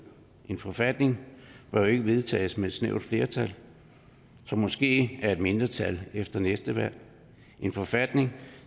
en forfatning bør ikke vedtages med et snævert flertal som måske er et mindretal efter næste valg en forfatning